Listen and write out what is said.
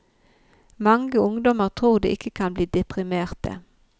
Mange ungdommer tror de ikke kan bli deprimerte.